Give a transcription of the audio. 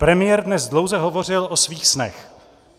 Premiér dnes dlouze hovořil o svých snech.